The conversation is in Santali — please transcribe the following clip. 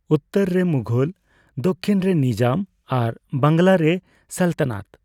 ᱩᱛᱛᱚᱨ ᱨᱮ ᱢᱩᱜᱷᱚᱞ, ᱫᱚᱠᱠᱷᱤᱱ ᱨᱮ ᱱᱤᱡᱟᱢ ᱟᱨ ᱵᱟᱝᱞᱟᱨᱮ ᱥᱟᱞᱛᱟᱱᱟᱛ ᱾